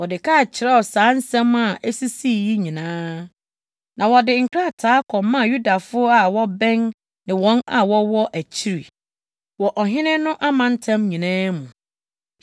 Mordekai kyerɛw saa nsɛm a esisii yi nyinaa, na wɔde nkrataa kɔmaa Yudafo a wɔbɛn ne wɔn a wɔwɔ akyiri wɔ ɔhene no amantam nyinaa mu,